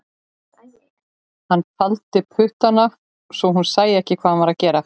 Hann faldi puttana svo hún sæi ekki hvað hann var að gera